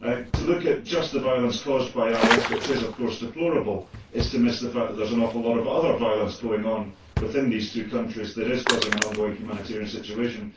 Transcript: To look at just the violence caused by IS, which is of course deplorable, is to miss the fact that there is an awful lot of other violence going on within these two countries which is causing an ongoing humanitarian situation.